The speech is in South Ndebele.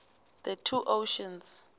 the two oceans